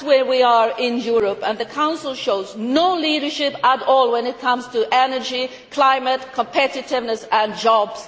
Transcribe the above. That is where we are in Europe, and the Council shows no leadership at all when it comes to energy, climate, competitiveness and jobs.